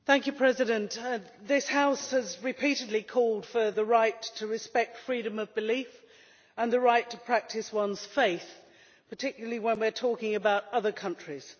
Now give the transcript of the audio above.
Madam President, this House has repeatedly called for the right to respect freedom of belief and the right to practice one's faith, particularly when we are talking about other countries.